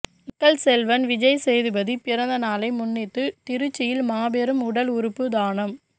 மக்கள் செல்வன் விஜய் சேதுபதி பிறந்த நாளை முன்னிட்டு திருச்சியில் மாபெரும் உடல் உறுப்பு தானம்